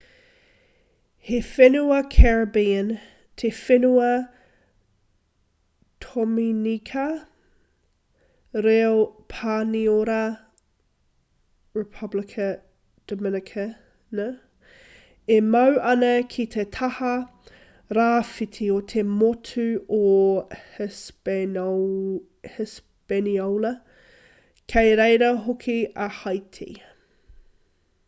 he whenua caribbean te whenua tominika reo pāniora: republica dominicana e mau ana ki te taha rāwhiti o te motu o hispaniola kei reira hoki a haiti